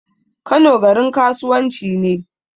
Kano garin kasuwan ci ne